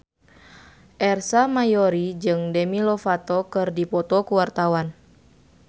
Ersa Mayori jeung Demi Lovato keur dipoto ku wartawan